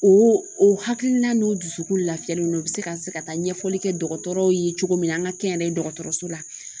O o hakilina n'o dusukun lafiyalen don u bɛ se ka se ka taa ɲɛfɔli kɛ dɔgɔtɔrɔw ye cogo min na an ka kɛ n yɛrɛ ye dɔgɔtɔrɔso la